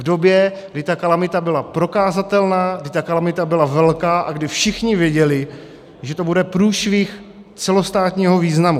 V době, kdy ta kalamita byla prokazatelná, kdy ta kalamita byla velká a kdy všichni věděli, že to bude průšvih celostátního významu.